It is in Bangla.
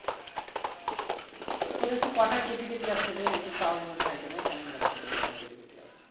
তোর একটু কথা কেটে কেটে যাচ্ছে রে একটু কেমন লাগছে তোর কথা কেটে কেটে যাচ্ছে